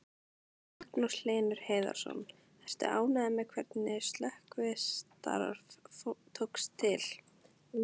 Magnús Hlynur Hreiðarsson: Ertu ánægður með hvernig slökkvistarf tókst til?